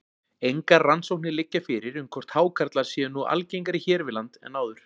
Engar rannsóknir liggja fyrir um hvort hákarlar séu nú algengari hér við land en áður.